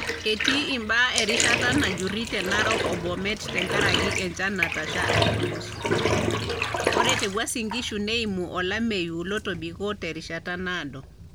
Etii imbaa erishata najjuri te narok o Bomet tenkaraki enchan natasha aitulus, ore te Uasin Gishu neimu olameyu lotobiko terishata naado.